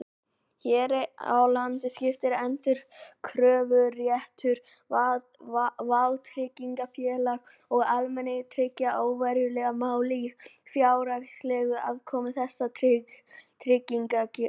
Hér á landi skiptir endurkröfuréttur vátryggingafélaga og almannatrygginga óverulegu máli um fjárhagslega afkomu þessara tryggingakerfa.